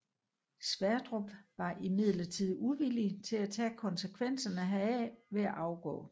Sverdrup var imidlertid uvillig til at tage konsekvenserne heraf ved at afgå